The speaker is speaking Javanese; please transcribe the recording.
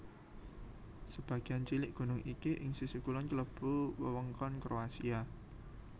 Sebagéan cilik gunung iki ing sisih kulon klebu wewengkon Kroasia